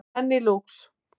Enn í Lúx